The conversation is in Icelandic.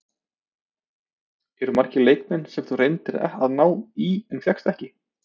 Eru margir leikmenn sem þú reyndir að ná í en fékkst ekki?